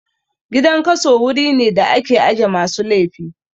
Gidan kaso wuri ne da ake aje masu laifi